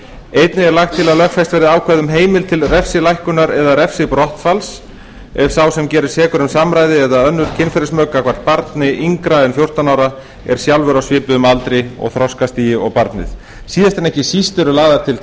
einnig er lagt til að lögfest verði ákvæði um heimild til refsilækkunar eða refsibrottfalls ef sá sem gerist sekur um samræði eða önnur kynferðismök gagnvart barni yngra en fjórtán ára er sjálfur á svipuðum aldri og þroskastigi og barnið síðast en ekki síst eru lagðar til